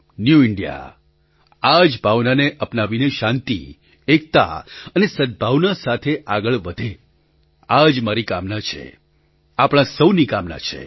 new India આ જ ભાવનાને અપનાવીને શાંતિ એકતા અને સદ્ભાવના સાથે આગળ વધે આ જ મારી કામના છે આપણા સહુની કામના છે